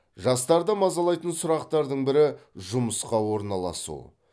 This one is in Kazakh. жастарды мазалайтын сұрақтардың бірі жұмысқа орналасу